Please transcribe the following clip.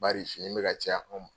Bari fini bɛ ka caya anw ma.